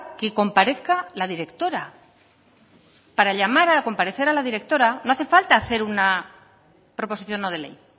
que comparezca la directora para llamar a comparecer a la directora no hace falta hacer una proposición no de ley